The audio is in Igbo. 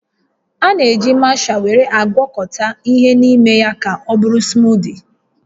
A na-eji masha were agwakọta ihe n'ime ya ka ọbụrụ smootii